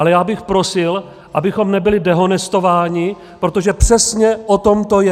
Ale já bych prosil, abychom nebyli dehonestováni, protože přesně o tom to je.